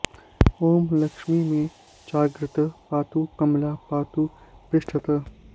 ॐ लक्ष्मी मे चाग्रतः पातु कमला पातु पृष्ठतः